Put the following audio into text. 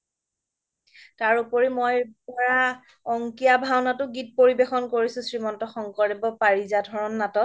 তাৰ ওপৰি মই পোৰা অংকীয়া ভাওনাতও গীত পৰিৱেশ কৰিছো শ্ৰীমন্ত শংকৰদেৱৰ পাৰিজাত হৰণ নাটত